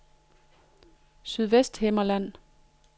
Sydvesthimmerland